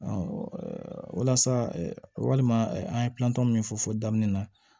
walasa walima an ye plantɔ min fɔ fɔ daminɛ na